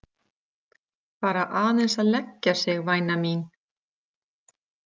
Bara aðeins að leggja sig væna mín.